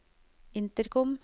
intercom